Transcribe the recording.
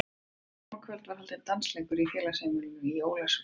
Þetta sama kvöld var haldinn dansleikur í gamla félagsheimilinu í Ólafsvík.